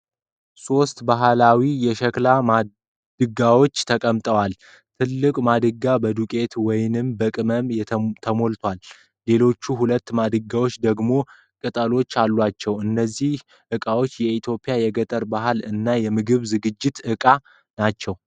ሶስት ባህላዊ የሸክላ ማድጋዎች ተቀምጠዋል ። ትልቁ ማድጋ በዱቄት ወይም በቅመም ተሞልቷል ። ሌሎቹ ሁለት ማድጋዎች ደግሞ ቅጠሎች አሏቸው ። እነዚህ ዕቃዎች የኢትዮጵያን የገጠር ባህል እና ምግብ የማዘጋጃ እቃ ናቸው።